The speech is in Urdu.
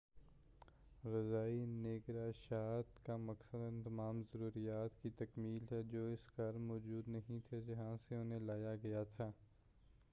رضاعی نگہداشت کا مقصد ان تمام ضروریات کی تکمیل ہے جو اس گھر موجود نہیں تھے جہاں سے انہیں لایا گیا تھا